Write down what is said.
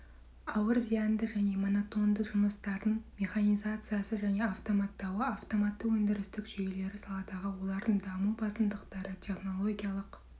ауыр зяинды және монотонды жұмыстардың механизациясы және автоматтауы автоматты өндірістік жүйелері саладағы олардың даму басымдықтары технологиялық